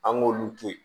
An k'olu to yen